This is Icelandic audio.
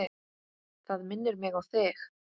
Það minnir mig á þig.